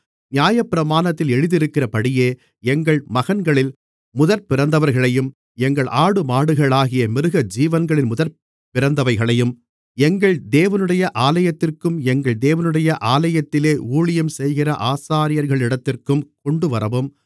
நியாயப்பிரமாணத்தில் எழுதியிருக்கிறபடியே எங்கள் மகன்களில் முதற்பிறந்தவர்களையும் எங்கள் ஆடுமாடுகளாகிய மிருகஜீவன்களின் முதற்பிறந்தவைகளையும் எங்கள் தேவனுடைய ஆலயத்திற்கும் எங்கள் தேவனுடைய ஆலயத்திலே ஊழியஞ்செய்கிற ஆசாரியர்களிடத்திற்கும் கொண்டுவரவும்